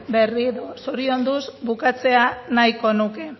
berriro zorionduz bukatzea nahiko nuke